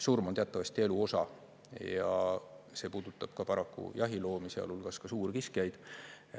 Surm on teatavasti elu osa ja see puudutab paraku ka jahiloomi, sealhulgas suurkiskjaid.